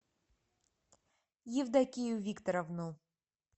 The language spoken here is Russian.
евдокию викторовну